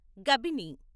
Kabini